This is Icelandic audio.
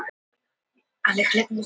Eiríksjökull í baksýn.